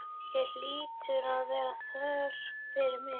Hér hlýtur að vera þörf fyrir mig.